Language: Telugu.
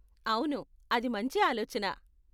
అవును, అది మంచి ఆలోచన.